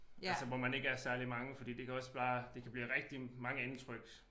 Altså hvor man ikke er særlig mange fordi det kan også bare det kan blive rigtig mange indtryk